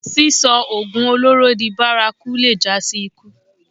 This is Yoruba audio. Sísọ oògùn olóró di bárakú lè jásí ikú